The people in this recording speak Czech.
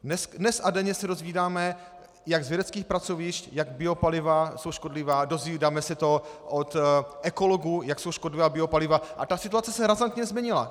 Dnes a denně se dozvídáme, jak z vědeckých pracovišť, jak biopaliva jsou škodlivá, dozvídáme se to od ekologů, jak jsou škodlivá biopaliva, a ta situace se razantně změnila.